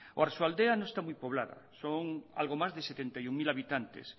oarsoaldea no está muy poblada son algo más de setenta y uno mil habitantes